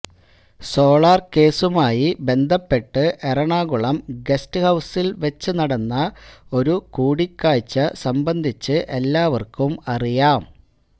solar കേസുമായി ബന്ധപ്പെട്ട് Ernakulam guest ഹൌസിൽ വെച്ചുനടന്ന ഒരു കൂടിക്കാഴ്ച സംബന്ധിച്ച് എല്ലാവർക്കും അറിയാം